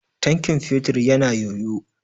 Tankin fetur ya na yoyo.